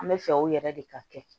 An bɛ fɛ u yɛrɛ de ka kɛ